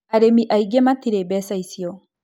Arĩmi aingĩ matirĩ mbeca icio